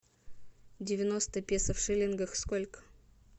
девяносто песо в шиллингах сколько